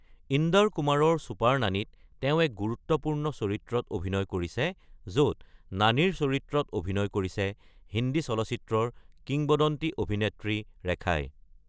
ইন্দৰ কুমাৰৰ ছুপাৰ নানীত তেওঁ এক গুৰুত্বপূৰ্ণ চৰিত্ৰত অভিনয় কৰিছে, য’ত নানীৰ চৰিত্ৰত অভিনয় কৰিছে হিন্দী চলচ্চিত্ৰৰ কিংবদন্তি অভিনেত্ৰী ৰেখাই।